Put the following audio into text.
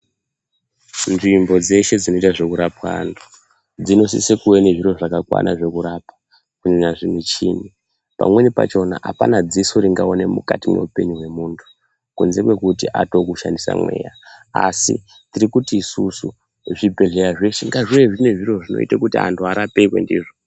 Nzvimbo dzeshe dzinoitwa zvekurapwa anthu, dzinosise kuve nezviro zvakakwana zvekurapa, kunyanya zvimuchini. Pamweni pachona apana dziso ringaone mukati mweupenyu hwemuntu kunze kwekuti atoo kushandisa mweya. Asi tiri kuti isusu zvibhedhleya zveshe ngazvive zvine zviro zvinoita kuti anthu arapirwe ndizvo.